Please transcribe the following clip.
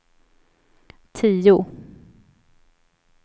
tio